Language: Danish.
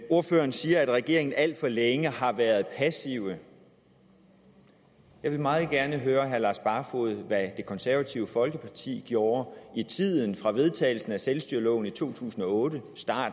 ordføreren siger at regeringen alt for længe har været passive jeg vil meget gerne høre herre lars barfoed om hvad det konservative folkeparti gjorde i tiden fra vedtagelsen af selvstyreloven i to tusind og otte